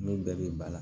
N'o bɛɛ bɛ ba la